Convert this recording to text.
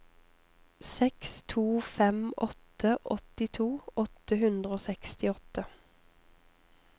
seks to fem åtte åttito åtte hundre og sekstiåtte